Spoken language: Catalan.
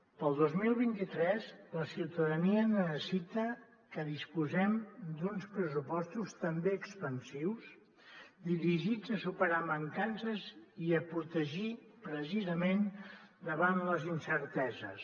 per al dos mil vint tres la ciutadania necessita que disposem d’uns pressupostos també expansius dirigits a superar mancances i a protegir precisament davant les incerteses